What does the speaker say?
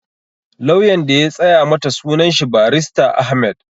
Lauyan da ya tsaya mata sunan shi Barista Ahmed